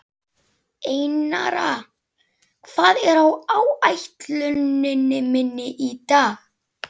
Einara, hvað er á áætluninni minni í dag?